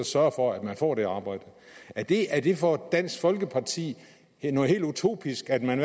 sørger for at man får det arbejde er det er det for dansk folkeparti noget helt utopisk at man